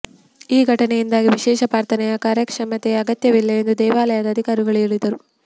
ಈ ಘಟನೆಯಿಂದಾಗಿ ವಿಶೇಷ ಪ್ರಾರ್ಥನೆಯ ಕಾರ್ಯಕ್ಷಮತೆಯ ಅಗತ್ಯವಿಲ್ಲ ಎಂದು ದೇವಾಲಯದ ಅಧಿಕಾರಿಗಳು ಹೇಳಿದರು